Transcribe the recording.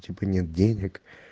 типа нет денег